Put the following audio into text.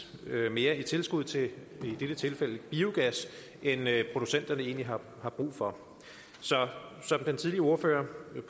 mere i tilskud til i dette tilfælde biogas end producenterne egentlig har brug for som den tidligere ordfører